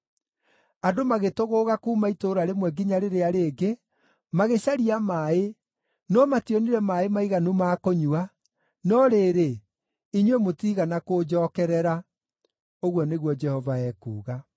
Andũ magĩtũgũũga kuuma itũũra rĩmwe nginya rĩrĩa rĩngĩ magĩcaria maaĩ, no mationire maaĩ maiganu ma kũnyua, no rĩrĩ, inyuĩ mũtiigana kũnjookerera,” ũguo nĩguo Jehova ekuuga.